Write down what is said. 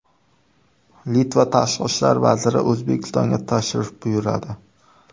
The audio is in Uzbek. Litva tashqi ishlar vaziri O‘zbekistonga tashrif buyuradi.